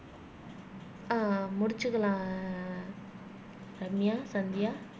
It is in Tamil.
ஆஹ் முடிச்சுக்கலாம் ரம்யா சந்தியா